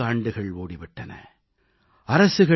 சுமார் 70 ஆண்டுகள் ஓடி விட்டன